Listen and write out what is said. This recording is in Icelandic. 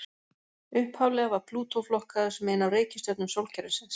Upphaflega var Plútó flokkaður sem ein af reikistjörnum sólkerfisins.